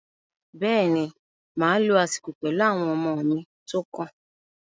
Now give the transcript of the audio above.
Bẹ́ẹ̀ ni, màá lo àsìkò pẹ̀lú àwọn ọmọ mi tó kàn